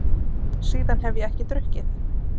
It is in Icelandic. Síðan hef ég ekki drukkið.